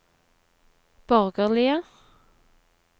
borgerlige